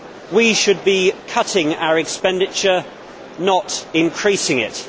We should be cutting our expenditure, not increasing it.